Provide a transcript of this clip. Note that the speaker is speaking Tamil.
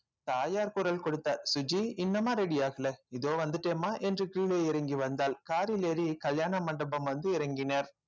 தாயார் குரல் கொடுத்தார் சுஜி இன்னுமா ready ஆகல இதோ வந்துட்டேன்ம்மா என்று கீழே இறங்கி வந்தாள் car ல் ஏறி கல்யாண மண்டபம் வந்து இறங்கினர்